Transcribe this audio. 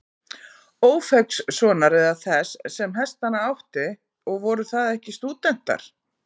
Ófeigssonar eða þess, sem hestana átti, og voru það ekki stúdentar.